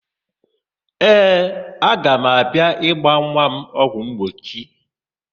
Ee, aga m abịa ịgba nwa m ọgwụmgbochi.